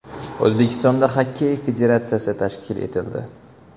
O‘zbekistonda Xokkey federatsiyasi tashkil etildi.